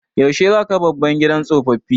Yaushe za ka kai baban ka gidan tsoffi?